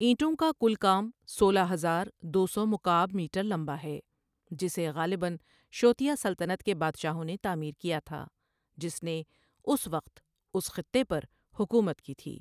اینٹوں کا کل کام سولہ ہزار دو سو مکعب میٹر لمبا ہے جسے غالباً شوتیا سلطنت کے بادشاہوں نے تعمیر کیا تھا جس نے اس وقت اس خطے پر حکومت کی تھی۔